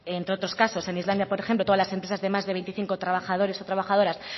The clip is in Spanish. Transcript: entre otros casos en islandia por ejemplo todas las empresas de más de veinticinco trabajadores o trabajadoras